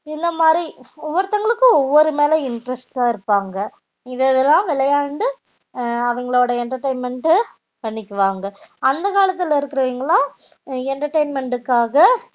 இந்த மாறி ஒவ்வெருத்த வங்கலுக்கும் ஒவ்வெரு மேல interest இருப்பாங்க இது இதுஎல்லாம் விளையாண்டு அவிங்களுடையே entertainment டு பண்ணிக்கு வாங்க அந்த காலத்துல இருக்குற வங்கலாம் entertainment காக